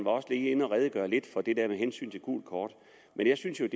redegjorde også lidt for det gule kort men jeg synes jo at